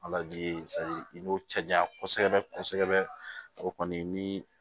i b'u cɛ janya kosɛbɛ kosɛbɛ o kɔni ni